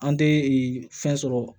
An tɛ fɛn sɔrɔ